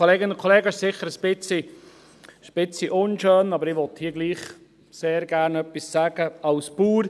Es ist sicher etwas unschön, aber ich möchte hier trotzdem sehr gerne etwas sagen als Bauer.